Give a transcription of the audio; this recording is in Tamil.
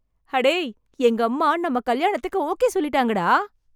அடேய், எங்கம்மா நம்ம கல்யாணத்துக்கு ஓகே சொல்லிட்டாங்க டா.